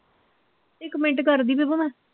ਇੱਕ ਮਿੰਟ ਕਰਦੀ ਵੇ ਭਲਾ